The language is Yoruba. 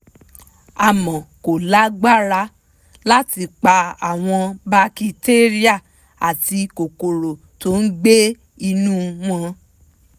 àmọ́ kó lágbára láti pa àwọn bakitéríà àti kòkòrò tó gbé inú wọn